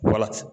Wala